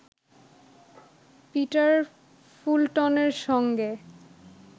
Peter ফুলটনের সঙ্গে